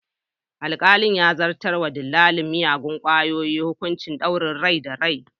Alkalin ya zartar wa dillalin miyagun kwayoyin hukuncin ɗaure rai da rai.